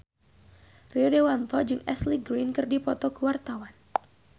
Rio Dewanto jeung Ashley Greene keur dipoto ku wartawan